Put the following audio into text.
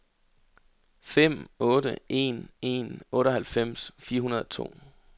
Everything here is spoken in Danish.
fem otte en en otteoghalvfems fire hundrede og to